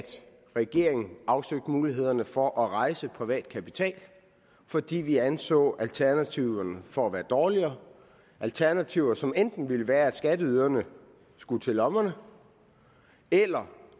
regeringen afsøgte mulighederne for at rejse privat kapital fordi vi anså alternativerne for være dårligere alternativer som enten ville være at skatteyderne skulle til lommerne eller